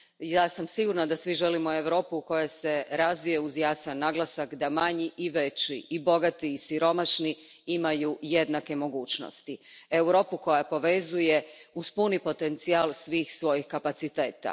Ja sam sigurna da svi želimo Europu koja se razvija, uz jasan naglasak da manji i veći, i bogati i siromašni imaju jednake mogućnosti, Europu koja povezuje uz puni potencijal svih svojih kapaciteta.